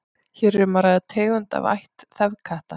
hér er um að ræða tegund af ætt þefkatta